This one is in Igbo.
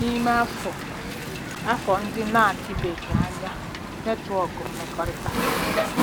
N'ime afọ afọ ndị na-adịbeghị anya, netwọk mmekọrịta